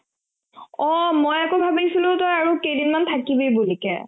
অ মই আকৌ ভাবিছিলো তই আৰু কেইদিনমান থাকিবি বুলিকে